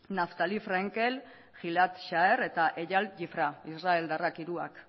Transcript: naftali frenkel gil ad shar eta eyal yifraj israeldarrak hiruak